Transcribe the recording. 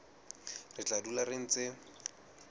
re tla dula re ntse